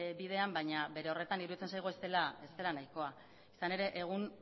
bidean baina bere horretan iruditzen zaigu ez dela nahikoa izan ere egun